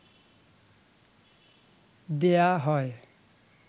দেয়া হয়